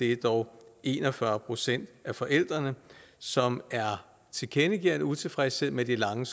er dog en og fyrre procent af forældrene som tilkendegiver en utilfredshed med de lange